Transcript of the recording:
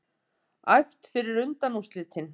Æft fyrir undanúrslitin